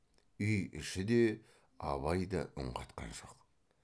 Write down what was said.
үй іші де абай да үн қатқан жоқ